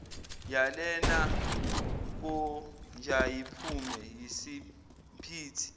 yalena konjayiphume yisemphithi